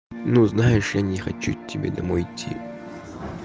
ну знаешь я не хочу к тебе домой идти